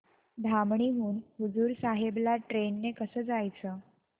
धामणी हून हुजूर साहेब ला ट्रेन ने कसं जायचं